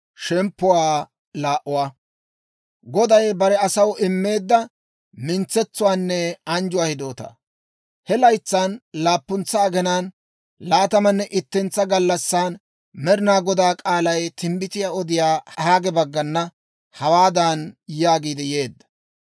He laytsan laappuntsa aginaan laatamanne ittentsa gallassan Med'inaa Godaa k'aalay timbbitiyaa odiyaa Haage baggana hawaadan yaagiid yeedda;